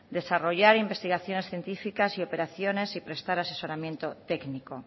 desarrollar investigaciones científicas operaciones y prestar asesoramiento técnico